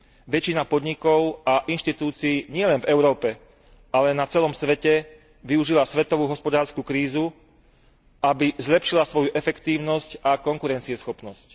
Väčšina podnikov a inštitúcií nielen v Európe, ale na celom svete, využíva svetovú hospodársku krízu, aby zlepšila svoju efektívnosť a konkurencieschopnosť.